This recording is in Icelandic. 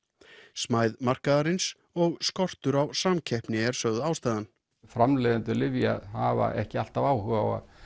smæð markaðarins og skortur á samkeppni er sögð ástæðan framleiðendur lyfja hafa ekki alltaf áhuga á að